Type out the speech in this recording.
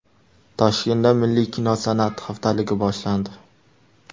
Toshkentda milliy kino san’ati haftaligi boshlandi.